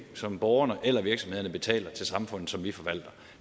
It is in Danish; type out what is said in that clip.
som borgerne eller virksomhederne betaler til samfundet og som vi forvalter